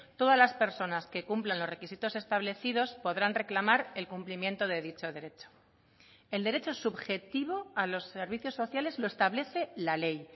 todas las personas que cumplan los requisitos establecidos podrán reclamar el cumplimiento de dicho derecho el derecho subjetivo a los servicios sociales lo establece la ley